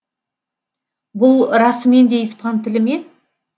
бұл расымен де испан тілі ме